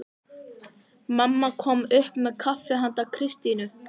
Mamma kom upp með kaffi handa Kristínu.